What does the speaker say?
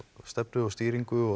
stefnu og stýringu og